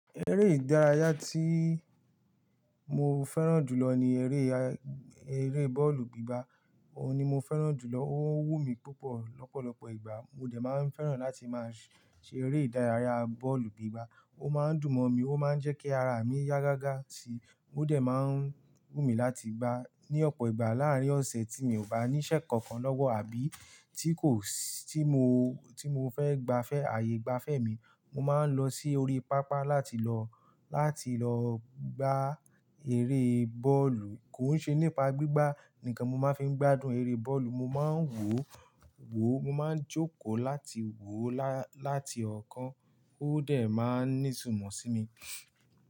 Eré ìdárayá tí mo fẹ́ràn jù lọ ni eré, eré bọ́ọ̀lù gbígbá. Òun ni mo fẹ́ràn jù lọ, ó wù mí púpọ̀. Lọ́pọ̀lọ́pọ̀ ìgbà mo dẹ̀ máa ń fẹ́ràn láti máa ṣe eré ìdárayá bọ́ọ̀lù gbígbá. Ó máa ń dùn mọ́ mi, ó máa ń jẹ́ kí ara mi yá gágá ti mo dẹ̀ máa ń wù mí láti gbá. Ni ọ̀pọ̀ ìgbà láàárín ọ̀sẹ̀ tí mi ò bá ní iṣẹ́ kankan lọ́wọ́ àbí tí kò sí, tí mo, tí mo fẹ́ gbafẹ́, ààyè gbafẹ́ mi, mo máa ń lọ sí orí pápá láti lọ, láti lọ gbá eré bọ́ọ̀lù. Kò n ṣe nípa gbígbá nìkan mo máa ń fi ń gbádùn eré bọ́ọ̀lù, mo máa ń wòó, wòó, mo máa ń jókòó láti wòó lá, láti ọ̀kan ó dẹ̀ máa ń ní itumọ sí mi.